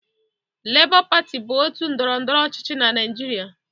Lebọ pati bụ otu ndọrọndọrọ ọchịchị na Naịjịrịa.